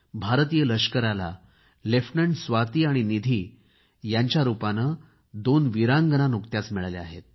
भारतीय लष्कराला लेफ्टनंट स्वाती आणि निधी यांच्या रूपाने दोन वीरांगना मिळाल्या आहेत